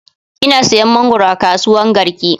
Ina sayan mangwaro a kasuwan garki